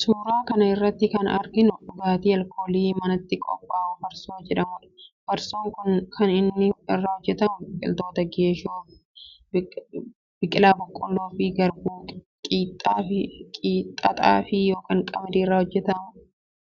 Suuraa kana irratti kan arginu dhugaatii alkoolii manatti qophaa'u farsoo jedhamudha. Farsoon kan inni irraa hojjetamu, biqiltuu geeshoo, biqila boqqoolloo ykn garbuu qixxaa xaafii ykn qamadii irraa hojjetama.